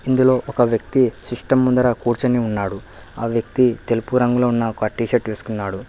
ఇందులో ఒక వ్యక్తి సిస్టం ముందర కూర్చొని ఉన్నాడు ఆ వ్యక్తి తెలుపు రంగులో ఉన్న ఒక టీషీర్ట్ వేసుకున్నాడు.